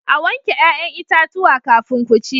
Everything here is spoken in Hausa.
A wanke 'ya'yan itatuwa kafin ku ci.